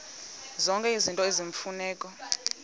zonke izinto eziyimfuneko